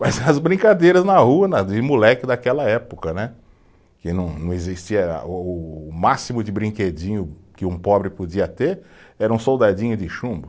Mas as brincadeiras na rua né, de moleque daquela época né, que não, não existia o o máximo de brinquedinho que um pobre podia ter, era um soldadinho de chumbo.